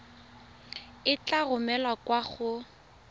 e tla romelwa kwa go